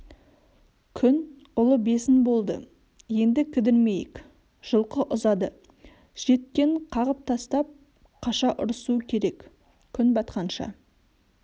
күн ұлы бесін болды енді кідірмейік жылқы ұзады жеткенін қағып тастап қаша ұрысу керек күн батқанша